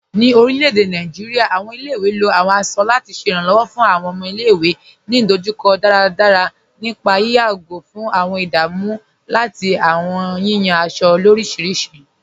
Ní orilẹ̀-èdè Nàìjíríà, awọn ilẹ̀-ìwé ló awọn aṣọ lati ṣẹ iranlọ́wọ fun awọn ọmọ ilẹ̀-ìwé ni idojukọ daradara nípà ìyàgó fun awọn ìdámù lati awọn yiyan aṣọ orísiríṣi.